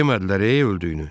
Demədilər, öldüyünü.